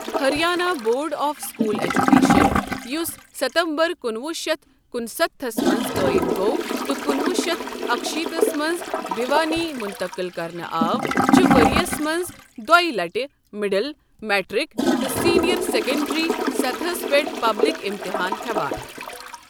Haryana board of school education, یُس ستمبر کُنوُہ شیتھ کُنستتھس منٛز قٲیم گوٚو تہٕ کُنوُہ شیتھ اکِشیتھس منٛز بھیِوانی منتقل کرنہٕ آو ، چھُ ؤریَس منٛز دۄییہِ لٹہِ مڈل، میٹرک تہٕ سینئر سیکنڈری سطحس پٮ۪ٹھ پبلک امتحان ہٮ۪وان ۔